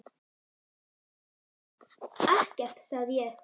Ekkert sagði ég.